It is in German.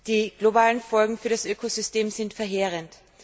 Die globalen Folgen für das Ökosystem sind verheerend.